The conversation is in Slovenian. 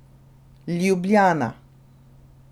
Ljubljana.